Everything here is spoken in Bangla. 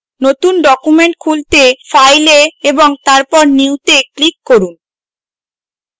নতুন document খুলতে file a এবং তারপর new to click করুন